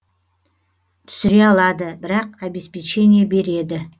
түсіре алады бірақ обеспечение береді